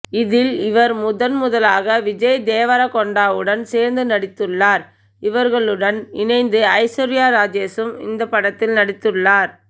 இதில் இவர் முதன் முதலாக விஜய் தேவரகொண்டாவுடன் சேர்ந்து நடித்துள்ளார் இவர்களுடன் இணைந்து ஐஸ்வர்யா ராஜேஷும் இந்த படத்தில் நடித்துள்ளார்